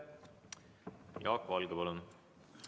Jaak Valge, palun!